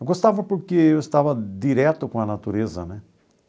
Eu gostava porque eu estava direto com a natureza, né?